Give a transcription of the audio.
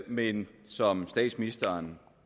men som statsministeren